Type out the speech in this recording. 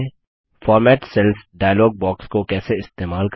format cells dialog box को कैसे इस्तेमाल करें